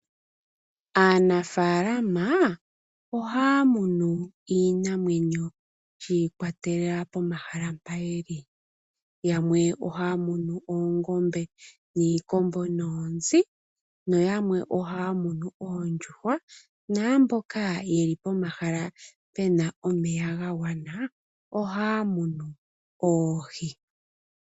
Aanafaalama ohaya munu iinamwenyo shi ikwatelela pomahala mpa yeli, yamwe ohaya munu oongombe niikombo noonzi noyamwe ohaya munu oondjuhwa naamboka yeli pohala puna omeya ga gwana ohaya munu oohi.